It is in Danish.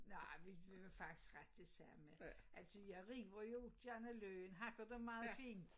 Nej vi vi var faktisk ret det samme altså jeg river jo gerne løgen hakker den meget fint